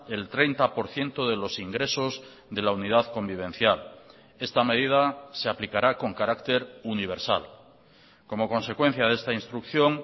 el treinta por ciento de los ingresos de la unidad convivencial esta medida se aplicará con carácter universal como consecuencia de esta instrucción